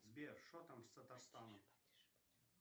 сбер что там с татарстаном